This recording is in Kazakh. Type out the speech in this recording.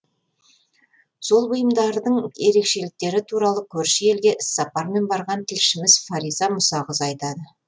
сол бұйымдардың ерекшеліктері туралы көрші елге іссапармен барған тілшіміз фариза мұсақызы айтады